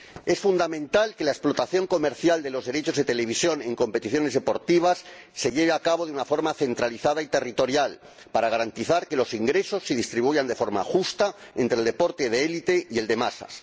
Es fundamental que la explotación comercial de los derechos de televisión en competiciones deportivas se lleve a cabo de una forma centralizada y territorial para garantizar que los ingresos se distribuyen de forma justa entre el deporte de élite y el de masas.